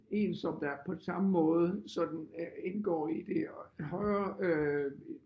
En som der på samme måde sådan indgår i det højere øh